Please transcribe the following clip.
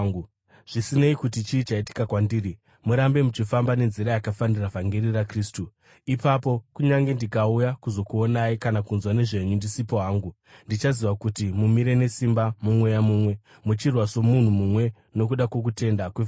Zvisinei kuti chii chaitika kwandiri, murambe muchifamba nenzira yakafanira vhangeri raKristu. Ipapo, kunyange ndikauya kuzokuonai kana kunzwa nezvenyu ndisipo hangu, ndichaziva kuti mumire nesimba mumweya mumwe, muchirwa somunhu mumwe nokuda kwokutenda kwevhangeri,